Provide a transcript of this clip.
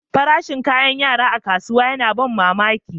Farashin kayakin yara a kasuwa yana ban mamaki.